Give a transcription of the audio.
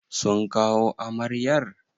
Sun kawo amaryar?